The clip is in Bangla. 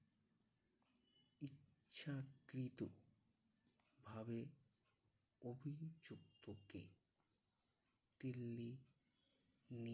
ইচ্ছাকৃত ভাবে অভিযুক্তকে দিল্লি নিয়ে